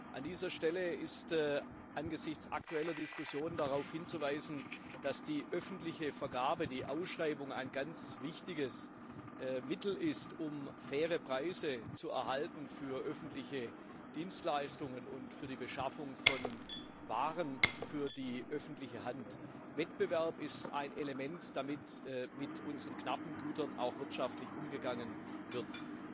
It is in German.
An dieser Stelle ist angesichts aktueller Diskussionen darauf hinzuweisen, dass die öffentliche Vergabe, die Ausschreibung, ein ganz wichtiges Mittel ist, um faire Preise für öffentliche Dienstleistungen und für die Beschaffung von Waren für die öffentliche Hand zu erhalten. Wettbewerb ist ein Element, damit mit unseren knappen Gütern auch wirtschaftlich umgegangen wird.